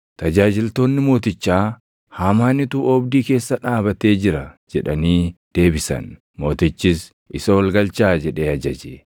Tajaajiltoonni mootichaa, “Haamaanitu oobdii keessa dhaabatee jira” jedhanii deebisan. Mootichis, “Isa ol galchaa” jedhee ajaje.